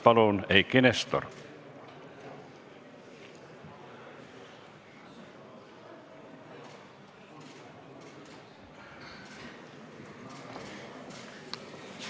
Palun, Eiki Nestor!